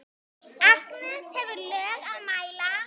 Agnes hefur lög að mæla.